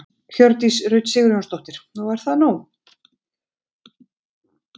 Hjördís Rut Sigurjónsdóttir: Og er það nóg?